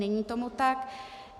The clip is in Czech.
Není tomu tak.